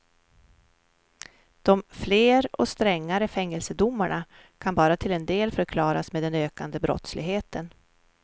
De fler och strängare fängelsedomarna kan bara till en del förklaras med den ökande brottsligheten.